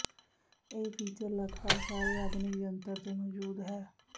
ਇਹ ਫੀਚਰ ਲੱਗਭਗ ਸਾਰੇ ਆਧੁਨਿਕ ਜੰਤਰ ਤੇ ਮੌਜੂਦ ਹੈ